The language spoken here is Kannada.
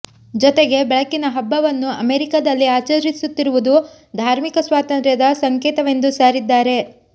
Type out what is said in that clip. ಜೊತೆಗೆ ಬೆಳಕಿನ ಹಬ್ಬವನ್ನು ಅಮೆರಿಕದಲ್ಲಿ ಆಚರಿಸುತ್ತಿರುವುದು ಧಾರ್ಮಿಕ ಸ್ವಾತಂತ್ರ್ಯದ ಸಂಕೇತವೆಂದು ಸಾರಿದ್ದಾರೆ